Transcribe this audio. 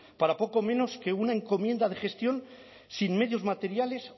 para poco menos que una encomienda de gestión sin medios materiales